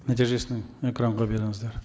нәтижесін экранға беріңіздер